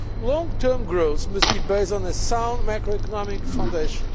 Long term growth must be based on a sound macro economic foundation.